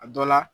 A dɔ la